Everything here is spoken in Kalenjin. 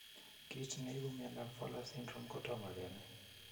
Kit ne ipu mondap Fowler's syndrome kotomo kenai.